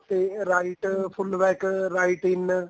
ਤੇ right full back right in